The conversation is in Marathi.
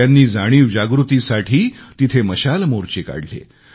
त्यांनी जाणीवजागृतीसाठी तिथे मशाल मोर्चे काढले